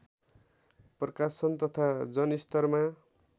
प्रकाशन तथा जनस्तरमा